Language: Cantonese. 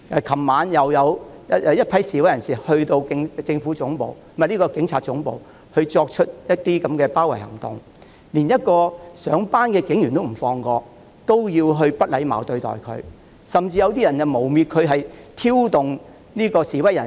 昨晚又有一群示威人士前往警察總部，進行包圍行動，他們連一位上班的警員也不放過，要不禮貌對待他，甚至有些人誣衊該警員挑動示威人士。